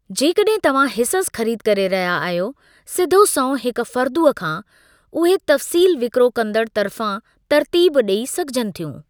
जेकॾहिं तव्हां हिसस ख़रीद करे रहिया आहियो सिधो संओं हिकु फ़र्दु खां, उहे तफ़सील विकिरो कंदड़ु तर्फ़ां तरतीब ॾेइ सघिजनि थियूं।